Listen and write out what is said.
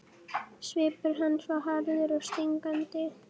Svipur hans var harður og stingandi.